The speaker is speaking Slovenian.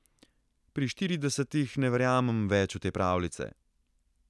Pri štiridesetih ne verjamem več v te pravljice.